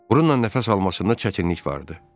Burunla nəfəs almasında çətinlik vardı.